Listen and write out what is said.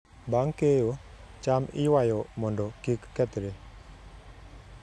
Bang' keyo, cham iywayo mondo kik kethre.